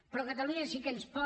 però catalunya sí que ens pot